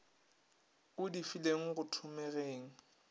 a di feleng go thomegeng